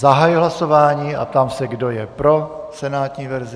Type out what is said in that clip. Zahajuji hlasování a ptám se, kdo je pro senátní verzi.